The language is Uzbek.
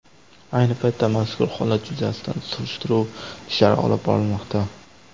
Ayni paytda mazkur holat yuzasidan surishtiruv ishlari olib borilmoqda.